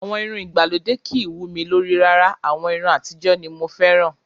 Àwọn irun ìgbàlódé kìí wú mi lórí rárá. Àwọn irun àtijọ́ ni mo fẹ́ràn